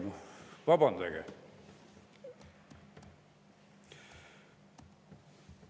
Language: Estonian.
No vabandage!